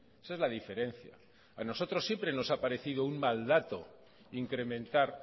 esa es la diferencia a nosotros siempre nos ha parecido un mal dato incrementar